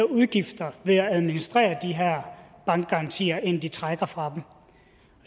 udgifter ved at administrere de her bankgarantier end de trækker fra dem